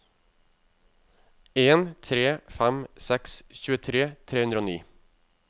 en tre fem seks tjuetre tre hundre og ni